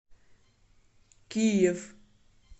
киев